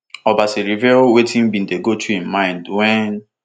obasa reveal wetin bin dey go through im mind wen